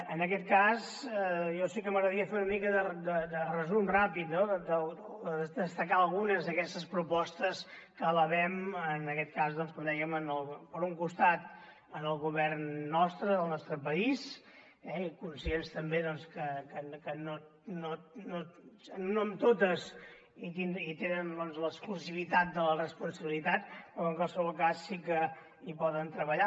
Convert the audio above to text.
en aquest cas a mi sí que m’agradaria fer una mica de resum ràpid no o destacar algunes d’aquestes propostes que elevem en aquest cas com dèiem per un costat al govern nostre del nostre país eh i conscients també que no en totes hi tenen doncs l’exclusivitat de la responsabilitat però que en qualsevol cas sí que hi poden treballar